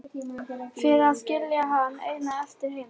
Fyrir að skilja hann einan eftir heima.